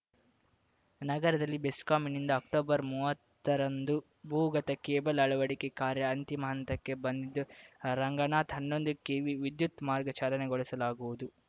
ನಗರದಲ್ಲಿ ಬೆಸ್ಕಾಂನಿಂದ ಅಕ್ಟೊಬರ್ ಮುವತ್ತರಂದು ಭೂಗತ ಕೇಬಲ್‌ ಅಳವಡಿಕೆ ಕಾರ್ಯ ಅಂತಿಮ ಹಂತಕ್ಕೆ ಬಂದಿದ್ದು ರಂಗನಾಥ ಹನ್ನೊಂದು ಕೆವಿ ವಿದ್ಯುತ್‌ ಮಾರ್ಗ ಚಾಲನೆಗೊಳಿಸಲಾಗುವುದು